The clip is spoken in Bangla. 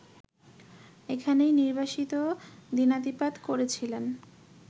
এখানেই নির্বাসিত দিনাতিপাত করেছিলেন